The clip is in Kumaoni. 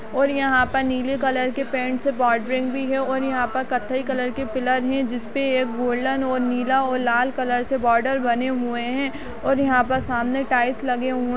और यहाँ पर नीले कलर के पैंट से बोरदेरीनग भी है और यहा पर कत्थई कलर के पिलर है जिस पर एक गोल्डन और एक नीला और लाल कलर से बॉर्डर बने हुए हैं और यहाँ पर सामने टाइल्स लगे हुए --